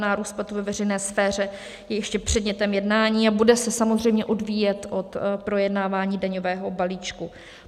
Nárůst platů ve veřejné sféře je ještě předmětem jednání a bude se samozřejmě odvíjet od projednávání daňového balíčku.